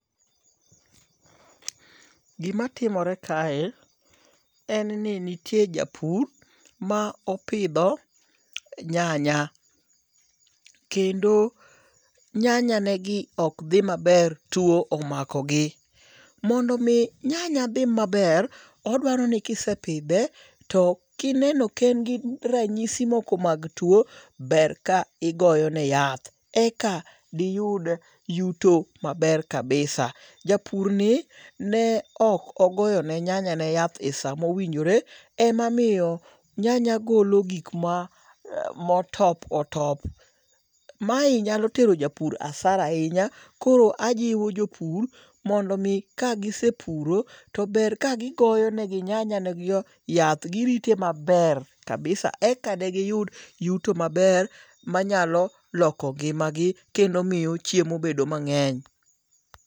Gima timore kae, en ni nitie japur ma opidho nyanya. Kendo nyanyanegi ok dhi maber. Tuo omako gi. Mondo mi nyanya dhi maber, odwaro ni kisepidhe, to kineno ka en gi ranyisi moko mag tuo, ber ka igoyo ne yath. Eka diyud yuto maber kabisa. Japur ni ne ok ogoyo ne nyanya ne yath e sa mowinjore. E momiyo nyanya golo gik ma motop otop. Mae nyalo tero japur asara ahinya. Koro ajiwo jopur mondo mi kasegi puro to ber ka gigoyonegi nyanya ne gigo yath. Girite maber kabisa eka degiyud yuto maber manyalo loko ngima gi kendo miyo chemo bedo mang'eny.